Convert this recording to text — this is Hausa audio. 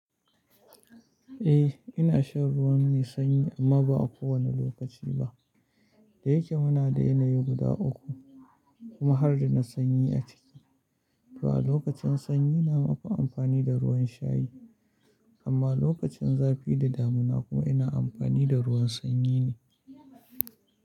Eh ina shan ruwan mai sanyi amma ba a kowane lokaci ba. Da yake muna da yanayi guda uku kuma har da na sanyi a ciki. To a lokacin sanyi na mafi amfani da ruwan shayi amma lokacin zafi da damuna kuma ina amfani da ruwan sanyi ne.